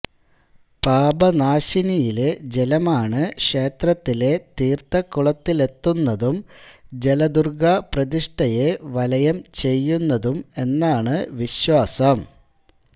പാപനാശിനിയിലെ ജലമാണ് ക്ഷേത്രത്തിലെ തീർഥകുളത്തിലെത്തുന്നതും ജലദുർഗാപ്രതിഷ്ഠയെ വലയം ചെയ്യുന്നതും എന്നാണ് വിശ്വാസം